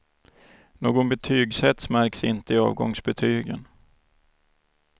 Någon betygshets märks inte i avgångsbetygen.